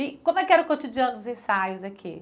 E como é que era o cotidiano dos ensaios aqui?